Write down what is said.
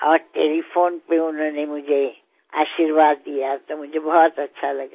और टेलीफोन पर उन्होंने मुझे आशीर्वाद दिया तो मुझे बहुत अच्छा लगा